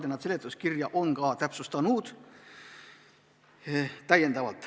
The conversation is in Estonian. Ja nad ongi seletuskirja täpsustanud.